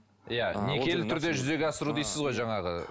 иә некелі түрде жүзеге асыру дейсіз ғой жаңағы